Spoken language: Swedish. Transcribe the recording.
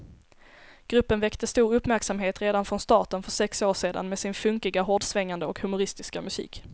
Gruppen väckte stor uppmärksamhet redan från starten för sex år sedan med sin funkiga, hårdsvängande och humoristiska musik.